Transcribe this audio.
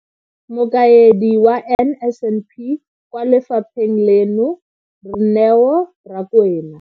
Mokaedi wa NSNP kwa lefapheng leno, Neo Rakwena.